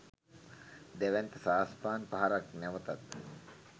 දැවැන්ත සාස්පාන් පහරක් නැවතත්